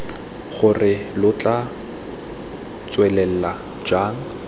gore lo tla tswelela jang